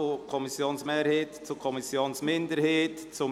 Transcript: Kommissionssprecher der FiKo.